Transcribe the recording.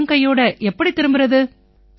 வெறும் கையோட எப்படி திரும்பறது